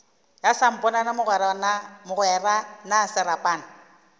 ya samponana mogwera na serapana